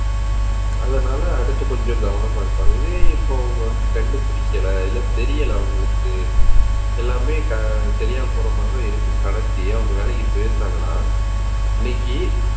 அதனால அடுத்து கொஞ்சம் கவனமா இருப்பாங்க. இதே இப்ப அவங்க வந்து கண்டுபிடிக்கலை இல்லை தெரியலே அவங்களுக்கு எல்லாமே சரியா போற மாதிரிதான் இருக்குன்னு நடத்தி அவங்க வேலைக்கு போயிருந்தாங்கன்னா இன்னைக்கு